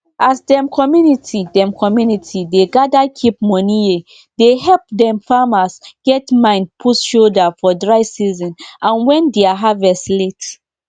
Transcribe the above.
if you boil if you boil guava and mango leaf together e dey help fight disease wey dey affect animal naturally.